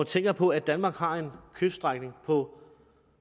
tænker på at danmark har en kyststrækning på